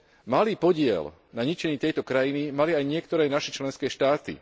Malý podiel na ničení tejto krajiny mali aj niektoré naše členské štáty.